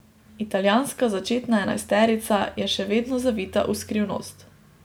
Italijanska začetna enajsterica je še vedno zavita v skrivnost.